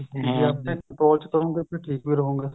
ਤੁਸੀਂ ਆਪਣੇਂ control ਵਿੱਚ ਰਹੋਗੇ ਤਾਂ ਠੀਕ ਵੀ ਰਹੋਗੇ